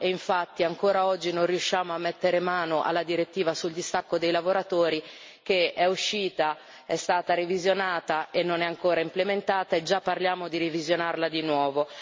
Infatti, ancora oggi non riusciamo a mettere mano alla direttiva sul distacco dei lavoratori, che è uscita, è stata revisionata e non è ancora implementata, e già parliamo di revisionarla di nuovo.